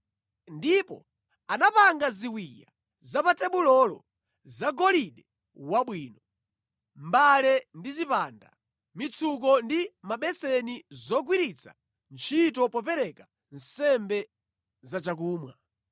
Ndipo anapanga ziwiya za pa tebulolo zagolide wabwino, mbale ndi zipande, mitsuko ndi mabeseni zogwiritsa ntchito popereka nsembe za chakumwa.